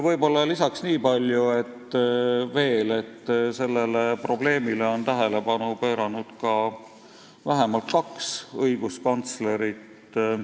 Niipalju võib-olla veel, et sellele probleemile on tähelepanu juhtinud ka kaks õiguskantslerit.